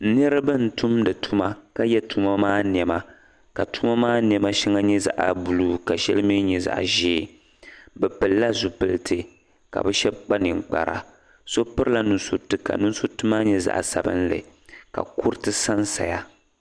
Niriba n tumdi tuma ka ye tuma maa nɛma ka tuma maa nɛma shɛŋa nyɛ zaɣ'buluu ka shɛŋa mi nyɛ zaɣ'ʒee bɛ pilila zupiliti ka bɛ shɛba kpa ninkpara so pirila nusuriti ka nusuriti maa nyɛ zaɣ'sabinli ka kuriti sansaya.